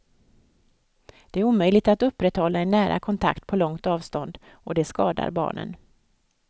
Det är omöjligt att upprätthålla en nära kontakt på långt avstånd, och det skadar barnen.